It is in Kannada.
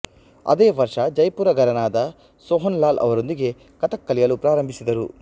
ಅದೇ ವರ್ಷ ಜೈಪುರ ಘರಾನಾದ ಸೊಹನ್ ಲಾಲ್ ಅವರೊಂದಿಗೆ ಕಥಕ್ ಕಲಿಯಲು ಪ್ರಾರಂಭಿಸಿದರು